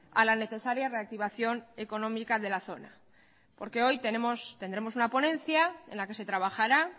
a la necesaria reactivación económica de la zona porque hoy tendremos una ponencia en la que se trabajará